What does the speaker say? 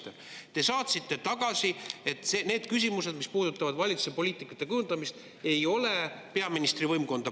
Te saatsite tagasi, et need küsimused, mis puudutavad valitsuse poliitika kujundamist, ei puuduta peaministri võimkonda.